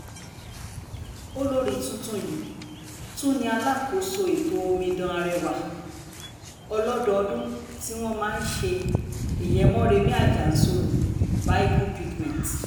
olórí tuntun yìí tún ni alákòóso ètò omidan arẹwà ọlọ́dọọdún tí wọ́n máa ń ṣe ìyẹn moremi ajansoro bible pageant